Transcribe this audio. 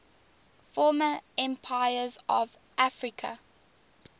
former empires of africa